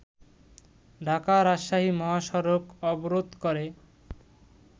ঢাকা-রাজশাহী মহাসড়ক অবরোধ করে